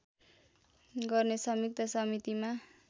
गर्ने संयुक्त समितिमा